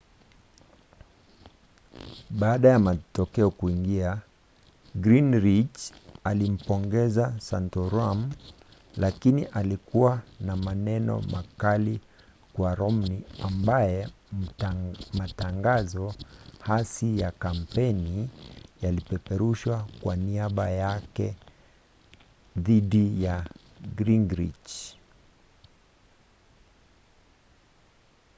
baada ya matokeo kuingia gingrich alimpongeza santorum lakini alikuwa na maneno makali kwa romney ambaye matangazo hasi ya kampeni yalipeperushwa kwa niaba yake dhidi ya gingrich